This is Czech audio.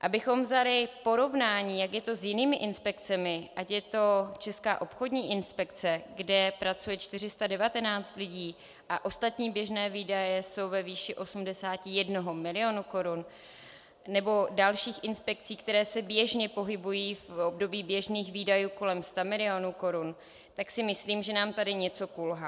Abychom vzali porovnání, jak je to s jinými inspekcemi, ať je to Česká obchodní inspekce, kde pracuje 419 lidí a ostatní běžné výdaje jsou ve výši 81 milionu korun, nebo dalších inspekcí, které se běžně pohybují v období běžných výdajů kolem 100 milionů korun, tak si myslím, že nám tady něco kulhá.